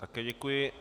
Také děkuji.